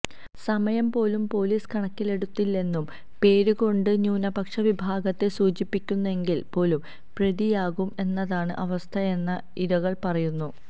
സമയം പോലും പോലീസ് കണക്കിലെടുത്തില്ലെന്നും പേര് കൊണ്ടു ന്യൂനപക്ഷ വിഭാഗത്തെ സൂചിപ്പിക്കുന്നെങ്കില് പോലും പ്രതിയാകും എന്നതാണ് അവസ്ഥയെന്ന് ഇരകള് പറയുന്നു